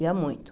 Ia muito.